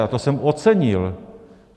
A to jsem ocenil.